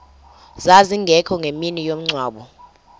zazingekho ngemini yomngcwabo